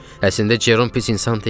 Əslində Cerom pis insan deyil.